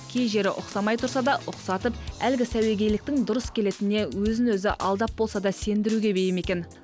кей жері ұқсамай тұрса да ұқсатып әлгі сәуегейліктің дұрыс келетініне өзін өзі алдап болса да сендіруге бейім екен